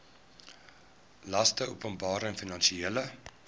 laste openbare finansiële